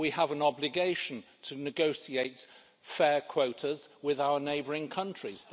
We have an obligation to negotiate fair quotas with our neighbouring countries.